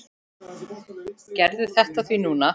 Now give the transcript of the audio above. Gerðu þetta því núna!